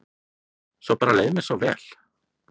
Svo bara leið mér svo vel.